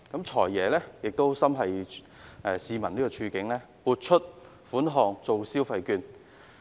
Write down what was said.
"財爺"亦心繫市民的處境，所以撥款推出消費券。